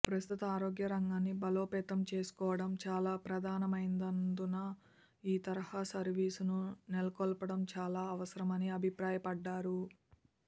ప్రస్తుతం ఆరోగ్య రంగాన్ని బలోపేతం చేసుకోవడం చాలా ప్రధానమైనందున ఈ తరహా సర్వీసును నెలకొల్పడం చాలా అవసరమని అభిప్రాయపడ్డారు